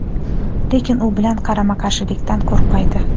lekin u bilan qarama-qarshilikdan qo‘rqmaydi.